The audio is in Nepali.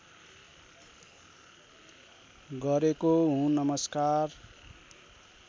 गरेको हुँ नमस्कार